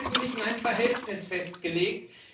Es wird im Wesentlichen ein Verhältnis festgelegt.